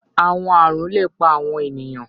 Awọn arun le pa awọn eniyan